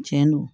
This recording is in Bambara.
Tiɲɛ don